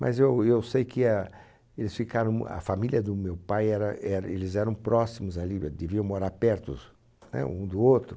Mas eu eu sei que a eles ficaram, a família do meu pai, era er eles eram próximos ali, deviam morar pertos, né? Um do outro.